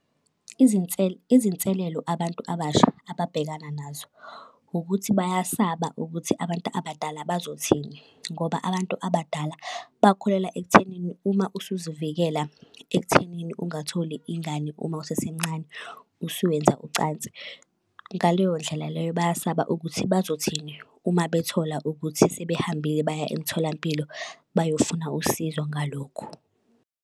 Izinselelo abantu abasha ababhekana nazo ukuthi bayasaba ukuthi abantu abadala bazothini. Ngoba abantu abadala bakholelwa ekuthenini uma usuzivikela ekuthenini ungatholi ingane uma usesemncane usuwenza ucansi. Ngaleyo ndlela leyo bayasaba ukuthi bazothini uma bethola ukuthi sebehambile baya emtholampilo bayofuna usizo ngalokhu.